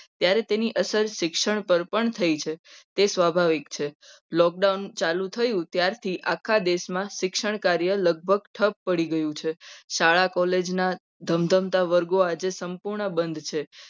ત્યારે તેની અસર શિક્ષણ પર પણ થઈ છે. તે સ્વાભાવિક છે. lockdown ચાલુ થયું ત્યારથી આખા દેશમાં શિક્ષણ કાર્ય લગભગ પડી ગયું છે. શાળા college ના ધમધમતા વર્ગો આજે સંપૂર્ણ બંધ છે.